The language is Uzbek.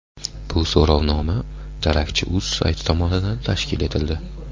Bu so‘rovnoma darakchi.uz sayti tomonidan tashkil etildi.